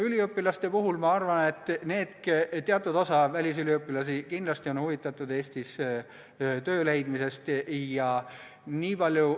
Üliõpilaste puhul ma arvan, et teatud osa välisüliõpilasi on kindlasti huvitatud Eestis töö leidmisest.